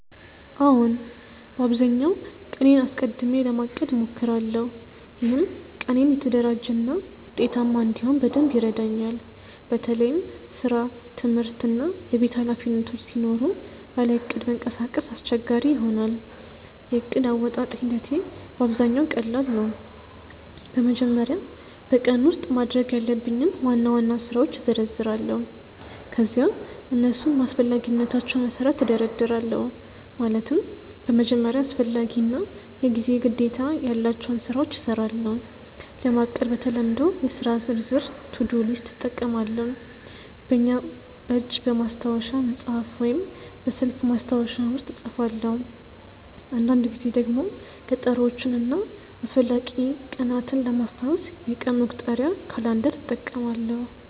አዎን፣ በአብዛኛው ቀኔን አስቀድሜ ለማቀድ እሞክራለሁ። ይህም ቀኔን የተደራጀ እና ውጤታማ እንዲሆን በደንብ ይረዳኛል። በተለይም ስራ፣ ትምህርት እና የቤት ኃላፊነቶች ሲኖሩ ያለ እቅድ መንቀሳቀስ አስቸጋሪ ይሆናል። የዕቅድ አወጣጥ ሂደቴ በአብዛኛው ቀላል ነው። በመጀመሪያ በቀኑ ውስጥ ማድረግ ያለብኝን ዋና ዋና ስራዎች እዘረዝራለሁ። ከዚያ እነሱን በአስፈላጊነታቸው መሠረት እደርድራለሁ፤ ማለትም በመጀመሪያ አስፈላጊ እና የጊዜ ግዴታ ያላቸውን ስራዎች እሰራለሁ። ለማቀድ በተለምዶ የሥራ ዝርዝር (to-do list) እጠቀማለሁ፣ በእጅ በማስታወሻ መጽሐፍ ወይም በስልክ ማስታወሻ ውስጥ እጽፋለሁ። አንዳንድ ጊዜ ደግሞ ቀጠሮዎችን እና አስፈላጊ ቀናትን ለማስታወስ የቀን መቁጠሪያ (calendar) እጠቀማለሁ።